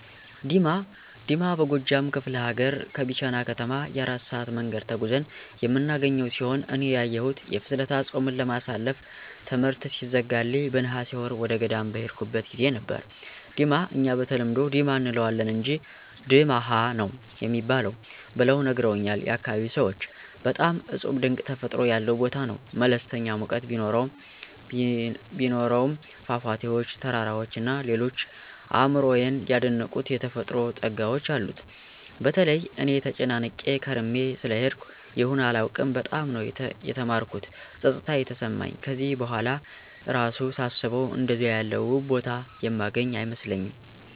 ዲማ፦ ዲማ በጎጃም ከፍለ ሀገር ከቢቸና ከተማ የ4 ሰአት መንገድ ተጉዘን የምናገኘው ሲሆን እኔ ያየሁት የፍልሰታ ጾምን ለማሳለፍ ትምሕርት ሲዘጋልኝ በነሐሴ ወር ወደገዳም በሄድኩበት ጊዜ ነበር፤ ዲማ እኛ በተለምዶ "ዲማ “ አንለዋለን አንጅ “ድማኅ“ ነው ሚባል ብለው ነግረውኛል ያካባቢው ሰዎች። በጣም እጹብ ድንቅ ተፈጥሮ ያለው ቦታ ነው። መለስተኛ ሙቀት ቢኖሰውም ፏፏቴዎች፣ ተራራዎች እና ሌሎች አእምሮየን የደነቁት የተፈጥሮ ጸጋዎች አሉት። በተለይ እኔ ተጨናንቄ ከርሜ ስለሄድኩ ይሁን አላውቅም በጣም ነው የተማረኩት ጸጥታ የተሰማኝ ከዚህ በኋላ እራሱ ሳስበው አንደዚያ ያለ ውብ ቦታ የማገኝ አይመስለኝም።